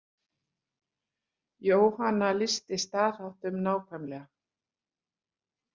Jóhanna lýsti staðháttum nákvæmlega.